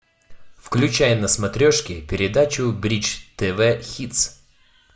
включай на смотрешке передачу бридж тв хитс